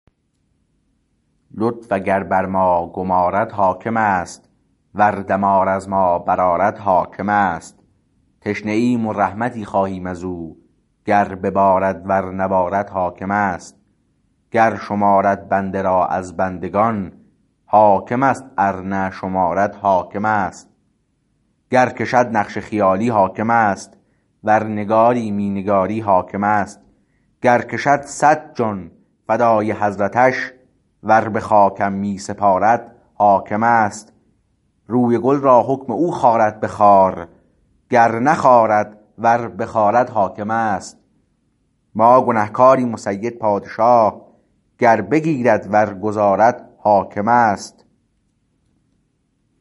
لطف اگر بر ما گمارد حاکم است ور دمار از ما برآرد حاکم است تشنه ایم و رحمتی خواهیم از او گر ببارد ور نبارد حاکم است گر شمارد بنده را از بندگان حاکمست ار نه شمارد حاکمست گر کشد نقش خیالی حاکم است ور نگاری می نگاری حاکمست گر کشد صد جان فدای حضرتش ور به خاکم می سپارد حاکمست روی گل را حکم او خارد به خار گر نخارد ور بخارد حاکمست ما گنه کاریم و سید پادشاه گر بگیرد ور گذارد حاکمست